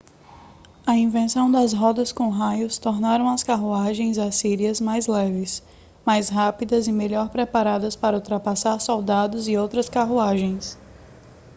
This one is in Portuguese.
a invenção das rodas com raios tornaram as carruagens assírias mais leves mais rápidas e melhor preparadas para ultrapassar soldados e outras carruagens